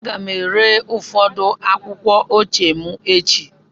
Aga m ere ụfọdụ akwụkwọ ochie m echi.